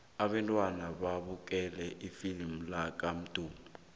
abantwana babukele ifilimu lakamdu